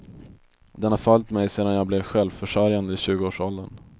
Den har följt mig sedan jag blev självförsörjande i tjugoårsåldern.